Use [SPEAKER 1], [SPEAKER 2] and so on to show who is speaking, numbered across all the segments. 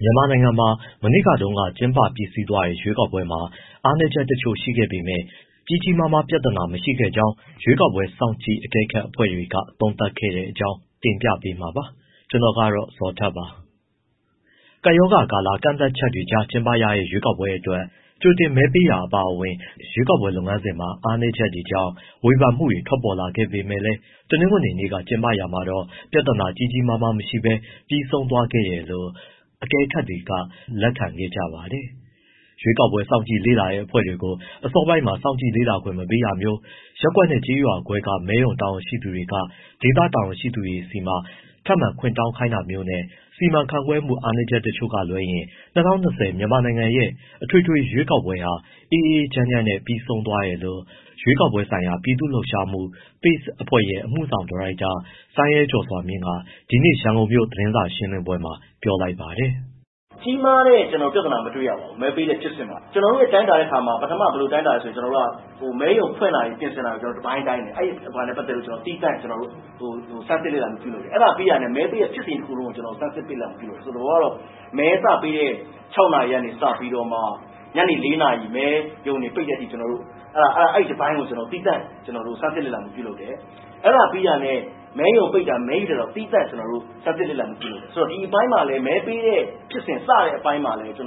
[SPEAKER 1] မြန်မာနိုင်ငံမှာ မနေ့တုန်းက ကျင်းပပြီးစီးသွားတဲ့ ရွေးကောက်ပွဲမှာ အားနည်းချက်တချို့ ရှိခဲ့ပေမဲ့ ကြီးကြီးမားမား ပြဿနာမရှိခဲ့ကြောင်း ရွေးကောက်ပွဲ စောင့်ကြည့်အကဲခတ်အဖွဲ့တွေက သုံးသပ်ခဲ့တဲ့အကြောင်း တင်ပြပေးမှာပါ။ ဗွီအိုအေမြန်မာပိုင်း သတင်းထောက် ကိုဇော်ထက်က သတင်းပေးပို့ထားပါတယ်။ ကပ်ရောဂါကာလ ကန့်သတ်ချက်တွေကြား ကျင်းပတဲ့ ရွေးကောက်ပွဲအတွက် ကြိုတင်မဲပေးတာ အပါအဝင် ရွေးကောက်ပွဲ လုပ်ငန်းစဉ်မှာ အားနည်းချက်တွေကြောင့် ဝေဖန်မှုတွေ ထွက်ပေါ်ခဲ့ပေမဲ့လည်း တနင်္ဂနွေနေ့က ကျင်းပရာမှာတော့ ပြဿနာကြီးကြီးမားမား မရှိဘဲ ပြီးဆုံးသွားခဲ့တယ်လို့ အကဲခတ်တွေက လက်ခံခဲ့ကြပါတယ်။ ရွေးကောက်ပွဲ စောင့်ကြည့်လေ့လာတဲ့ အဖွဲ့တွေကို အစောပိုင်းမှာ စောင့်ကြည့်လေ့လာခွင့် မပေးတာမျိုး၊ ရပ်ကွက်နဲ့ ကျေးရွာခွဲက မဲရုံတာဝန်ရှိသူတွေက ဒေသတာဝန်ရှိသူတွေဆီမှာ ထပ်မံခွင့်တောင်းခိုင်းတာမျိုးနဲ့ စီမံခန့်ခွဲမှု အားနည်းချက်တချို့က လွဲရင် ၂၀၂၀ မြန်မာနိုင်ငံရဲ့ အထွေထွေ ရွေးကောက်ပွဲဟာ အေးအေးချမ်းချမ်းနဲ့ ပြီးဆုံးသွားတယ်လို့ ရွေးကောက်ပွဲဆိုင်ရာ ပြည်သူ့လှုပ်ရှားမှု PACE အဖွဲ့ရဲ့ အမှုဆောင်ဒါရိုက်တာ စိုင်းရဲကျော်စွာမြင့်က ဒီကနေ့ ရန်ကုန်မြို့က သတင်းစာရှင်းလင်းပွဲမှာ ပြောလိုက်ပါတယ်။
[SPEAKER 2] “ကြီးမားတဲ့ဖြစ်စဉ် မတွေ့ရပါဘူး။ မဲပေးတဲ့ဖြစ်စဉ်မှာ ကျနော်တို့ တိုင်းတာတဲ့အခါမှာ ပထမဘယ်လို တိုင်းတာလဲဆိုတော့ မဲရုံပြင်ဆင်တာ၊ ဖွင့်တာ တပိုင်းတိုင်းတယ်၊ သီးသန့်ဆန်းစစ်လေ့လာမှု လုပ်တယ်။ အဲဒါပြီးတာနဲ့ မဲပေးတဲ့ ဖြစ်စဉ်ကြီးတခုလုံးကို ဆန်းစစ်လေ့လာမှုလုပ်တယ်။ သဘောက မဲစပေးတဲ့ ၆ နာရီကစပြီးတော့ ညနေ ၄ နာရီ မဲရုံတွေ ပိတ်တဲ့အထိ အဲဒီတပိုင်းကို သီးသန့် ကျနော်တို့ ဆန်းစစ်လေ့လာမှု လုပ်တယ်၊ အဲဒါပြီးတာနဲ့ မဲရုံပိတ်တာ မဲရေတာကို သီးသန့် ကျနော်တို့ ဆန်းစစ်လေ့လာမှု လုပ်တယ်၊ ဒီအပိုင်းမှာလည်း မဲပေးတဲ့ ဖြစ်စဉ်မှာလည်း ကြီး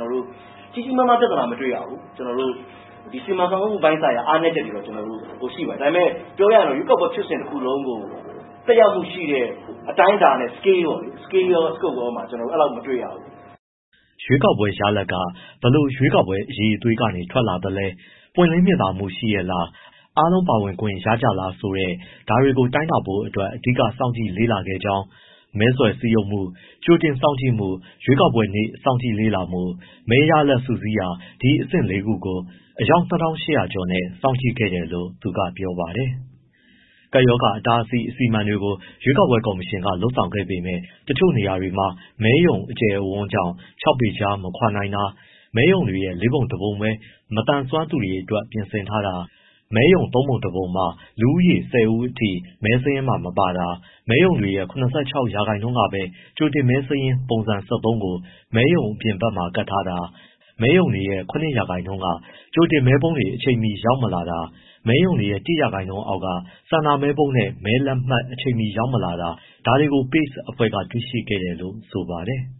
[SPEAKER 2] ကြီးမားမားပြဿနာ မတွေ့ရဘူး။ စီမံခန့်ခွဲမှု ပိုင်းဆိုင်ရာ အားနည်းချက်တွေတော့ ရှိပါတယ်။ ဒါပေမဲ့ ပြောရရင် ရွေးကောက်ပွဲ ဖြစ်စဉ်တခုလုံးကို သက်ရောက်မှုရှိတဲ့ အတိုင်းအတာ scale ရော၊ scoope ရောမှာ ကျနော်တို့ အဲဒီလောက် မတွေ့ရဘူး။
[SPEAKER 1] ” ရွေးကောက်ပွဲရလဒ်တွေက ဘယ်လို ရွေးကောက်ပွဲ အရည်အသွေးတွေက ထွက်လာတာလဲ၊ ပွင့်လင်းမြင်သာမှုရှိရဲ့လား၊ အားလုံး ပါဝင်ခွင့်ရကြလား ဆိုတဲ့ ဒါတွေကို တိုင်းတာဖို့အတွက် အဓိက စောင့်ကြည့်လေ့လာခဲ့ကြောင်း၊ မဲဆွယ်စည်းရုံးမှု၊ ကြိုတင်မဲစောင့်ကြည့်မှု၊ ရွေးကောက်ပွဲနေ့ စောင့်ကြည့်လေ့လာမှု၊ မဲရလဒ်တွေ စုစည်းတာ ဒီအဆင့်လေးခုကိုအယောက် ၂,၈၀၀ ကျော်နဲ့ စောင့်ကြည့်ခဲ့တယ်လို့ သူကပြောပါတယ်။ ကပ်ရောဂါအတားအဆီး အစီအမံတွေကို ရွေးကောက်ပွဲကော်မရှင်က လုပ်ဆောင်ခဲ့ပေမဲ့ တချို့နေရာတွေမှာ မဲရုံအကျယ်အဝန်းကြောင့် ခြောက်ပေခြား မခွာနိုင်တာ၊ မဲရုံတွေရဲ့ လေးပုံတပုံပဲ မသန်စွမ်းသူတွေအတွက် ပြင်ဆင်ထားတာ၊ မဲရုံ သုံးပုံ တပုံမှာ လူတဦးကနေ ၁၀ ဦးထိ မဲစာရင်းမှာ မပါတာ၊ မဲရုံတွေရဲ့ ၇၆ ရာခိုင်နှုန်းကပဲ ကြိုတင်မဲစာရင်း ပုံစံ ၁၃ ကို မဲရုံအပြင်ဘက်မှာ ကပ်ထာတာ၊ မဲရုံတွေရဲ့ ၇ ရာခိုင်နှုန်းမှာ ကြိုတင်မဲပုံးတွေ အချိန်မီရောက်မလာတာ၊ မဲရုံတွေရဲ့ ၁ ရာခိုင်နှုန်းအောက်က ဆန္ဒမဲပုံးနဲ့ မဲလက်မှတ် အချိန်မီရောက်မလာတာ ဒါတွေကို PACE အဖွဲ့ကတွေ့ရှိခဲ့တယ်လို့ ဆိုပါတယ်။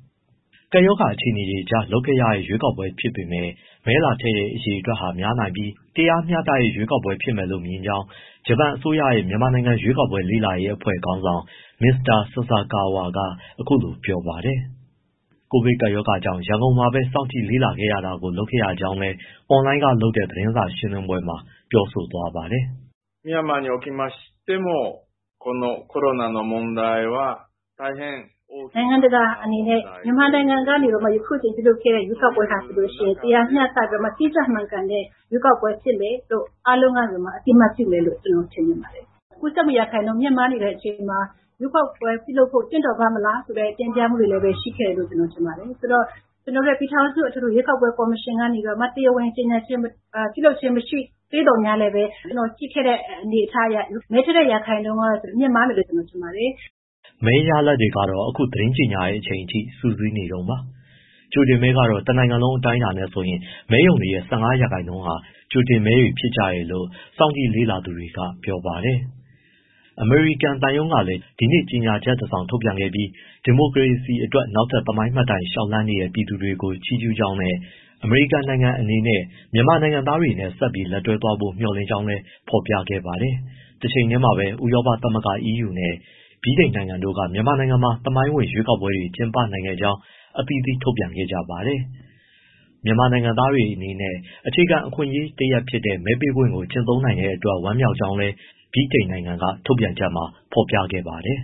[SPEAKER 1] ကပ်ရောဂါအခြေအနေကြားမှာ လုပ်ခဲ့ရတဲ့ ရွေးကောက်ပွဲဖြစ်ပေမဲ့ မဲလာထည့်တဲ့ အရေအတွက်ဟာများနိုင်ပြီး တရားမျှတတဲ့ ရွေးကောက်ပွဲဖြစ်မယ်လို့ မြင်ကြောင်း ဂျပန်အစိုးရရဲ့ မြန်မာနိုင်ငံရွေးကောက်ပွဲ လေ့လာရေးအဖွဲ့ခေါင်းဆောင် မစ္စတာ ဆာဆာကာဝါ က အခုလိုပြောပါတယ်။ ကိုဗစ် ကပ်ရောဂါ ကြောင့် ရန်ကုန်မှာပဲ စောင့်ကြည့် လေ့လာတာကို လုပ်ခဲ့ရကြောင်းလည်း အွန်လိုင်းကလုပ်တဲ့ သတင်းစာရှင်းလင်းပွဲမှာ ပြောဆိုသွားပါတယ်။ “နို
[SPEAKER 3] င်ငံတကာအနေနဲ့ မြန်မာနိုင်ငံမှာ အခုအချိန် ပြုလုပ်ခဲ့တဲ့ ရွေးကောက်ပွဲဟာ ဆိုလို့ရှိရင် တရားမျှတပြီးတော့မှ တိကျမှန်ကန်တဲ့ ရွေးကောက်ပွဲဖြစ်မယ်လို့ အားလုံးကနေ အသိအမှတ်ပြုမယ်လို့ ကျနော်ထင်ပါတယ်။ ကူးစက်မှုရာခိုင်နှုန်း မြင့်မားနေတဲ့ အခြေအနေမှာ ရွေးကောက်ပွဲပြုလုပ်ဖို့ သင့်တော်ပါ့မလား ဆိုတဲ့ တင်ပြမှုတွေလည်း ရှိခဲ့တယ်လို့ ကျနော်ထင်ပါတယ်။ ဆိုတော့ ကျနော်တို့ ပြည်ထောင်စု ရွေးကောက်ပွဲ ကော်မရှင်ကနေပြီးတော့ တရားဝင် ကြေညာခြင်း မရှိသေးသော်ငြားလည်း ကျနော်ကြည့်ခဲ့တဲ့ အနေအထားအရ မဲထည့်တဲ့ ရာခိုင်နှုန်းကတော့ မြင့်မားမယ်လို့ ကျနော်ထင်ပါတယ်။
[SPEAKER 1] ” မဲရလဒ်တွေကတော့ အခုသတင်းကြေညာတဲ့အချိန်အထိ စုစည်းနေတုန်းပါ။ ကြိုတင်မဲကတော့ နိုင်ငံလုံးအတိုင်းအတာနဲ့ဆိုရင် မဲရုံတွေရဲ့ ၁၅ ရာခိုင်နှုန်းဟာ ကြိုတင်မဲတွေဖြစ်ကြတယ်လို့ စောင့်ကြည့်လေ့လာသူတွေက ပြောပါတယ်။ အမေရိကန်သံရုံးကလည်း ဒီနေ့ကြေညာချက်တစောင်ထုတ်ပြန်ခဲ့ပြီး ဒီမိုကရေစီအတွက် နောက်ထပ်သမိုင်းမှတ်တိုင် လျှောက်လှမ်းနေတဲ့ ပြည်သူတွေကို ချီးကျူးကြောင်းနဲ့ အမေရိကန်နိုင်ငံအနေနဲ့ မြန်မာနိုင်ငံသားတွေနဲ့ ဆက်ပြီး လက်တွဲသွားဖို့ မျှော်လင့်ကြောင်း ဖော်ပြခဲ့ပါတယ်။ တချိန်တည်းမှာပဲ ဥရောပသမဂ္ဂ နဲ့ ဗြိတိန်နိုင်ငံတို့က မြန်မာနိုင်ငံမှာ သမိုင်းဝင်ရွေးကောက်ပွဲတွေ ကျင်းပနိုင်ခဲ့ကြောင်း အသီးသီး ထုတ်ပြန်ခဲ့ကြပါတယ်။ မြန်မာနိုင်ငံသားတွေ အနေနဲ့ အခြေခံအခွင့်အရေးတရပ်ဖြစ်တဲ့ မဲပေးပိုင်ခွင့်ကို ကျင့်သုံးနိုင်တဲ့အတွက် ဝမ်းမြောက်ကြောင်းလည်း ဗြိတိန်နိုင်ငံက ထုတ်ပြန်ချက်မှာ ဖော်ပြခဲ့ပါတယ်။